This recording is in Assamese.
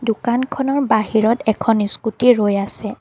দোকানখনৰ বাহিৰত এখন স্কুটী ৰৈ আছে।